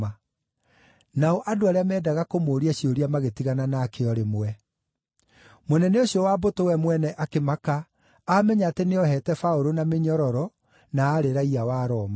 Nao andũ arĩa meendaga kũmũũria ciũria magĩtigana nake o rĩmwe. Mũnene ũcio wa mbũtũ we mwene akĩmaka aamenya atĩ nĩoheete Paũlũ na mĩnyororo, na aarĩ raiya wa Roma.